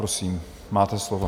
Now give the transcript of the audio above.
Prosím, máte slovo.